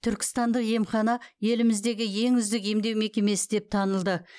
түркістандық емхана еліміздегі ең үздік емдеу мекемесі деп танылды